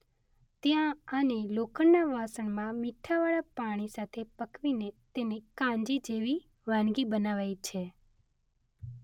ત્યાં આને લોખંડના વાસણમાં મીઠાવાળા પાણી સાથે પકવીને તેની કાંજી જેવી વાનગી બનાવાય છે.